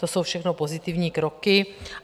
To jsou všechno pozitivní kroky.